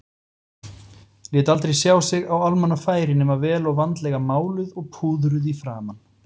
Lét aldrei sjá sig á almannafæri nema vel og vandlega máluð og púðruð í framan.